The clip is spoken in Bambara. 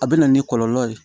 A bɛ na ni kɔlɔlɔ ye